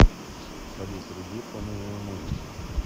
салют вруби фоновую музыку